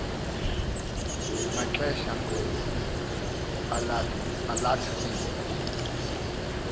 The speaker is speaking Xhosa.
maxesha alatha into